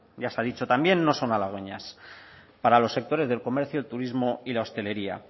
ya se ha dicho también no son halagüeñas para los sectores del comercio el turismo y la hostelería